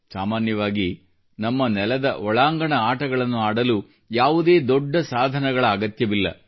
ಸಾಮಾನ್ಯವಾಗಿ ನಮ್ಮ ನೆಲದ ಒಳಾಂಗಣ ಆಟಗಳನ್ನು ಆಡಲು ಯಾವುದೇ ದೊಡ್ಡ ಸಾಧನಗಳ ಅಗತ್ಯವಿಲ್ಲ